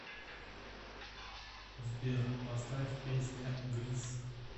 сбер поставь песня грис